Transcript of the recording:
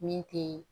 Min te